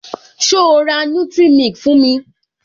So ra nutric milk fún mi?